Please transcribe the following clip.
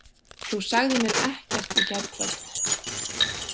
Þú sagðir mér ekkert í gærkvöld.